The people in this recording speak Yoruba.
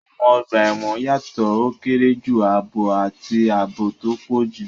Àwọn ọgbà ẹ̀wọ̀n yàtọ̀: ó kéré jù, ààbọ̀, àti ààbò tó pọ̀ jù.